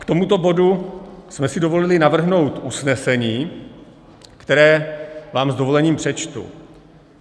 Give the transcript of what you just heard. K tomuto bodu jsme si dovolili navrhnout usnesení, které vám s dovolením přečtu: